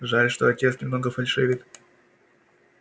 жаль что отец немного фальшивит